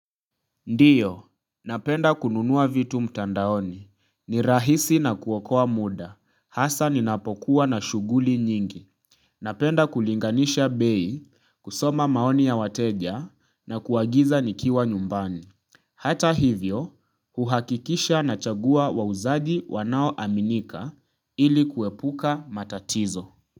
Ndiyo, napenda kununuwa vitu mtandaoni. Ni rahisi na kuokoa muda. Hasa ninapokuwa na shuguli nyingi. Napenda kulinganisha bei kusoma maoni ya wateja na kuwagiza nikiwa nyumbani. Hata hivyo, uhakikisha na chagua wa wauzaji wanao aminika ili kuepuka matatizo.